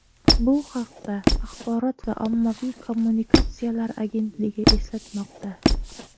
Bu haqda Axborot va ommaviy kommunikatsiyalar agentligi eslatmoqda .